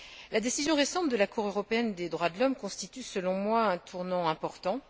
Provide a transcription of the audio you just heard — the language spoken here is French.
La décision récente de la Cour européenne des droits de l'homme constitue, selon moi, un tournant important.